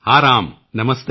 ਹਾਂ ਰਾਮ ਨਮਸਤੇ